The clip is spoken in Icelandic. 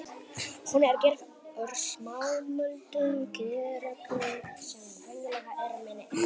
Hún er gerð úr smámuldum glerögnum sem venjulega eru minni en